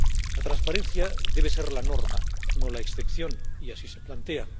La transparencia debe ser la norma, no la excepción, y así se plantea.